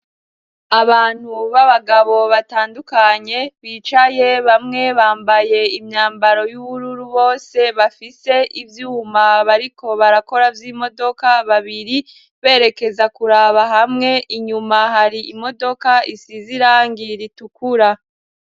Abantu b'abagabo batandukanye bicaye, bamwe bambaye imyambaro y'ubururu; bose bafise ivyuma bariko barakora vy'imodoka, babiri berekeza kuraba hamwe. Inyuma hari imodoka isize irangi ritukura.